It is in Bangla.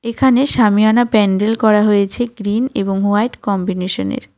এখানে সামিয়ানা প্যান্ডেল করা হয়েছে গ্রীন এবং হোয়াইট কম্বিনেশনের.